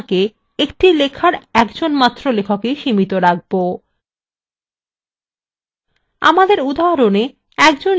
কিন্তু আমরা আমাদের আলোচনাকে একটি লেখার একজনমাত্র লেখকেই limit রাখবো